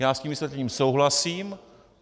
Já s tím vysvětlením souhlasím.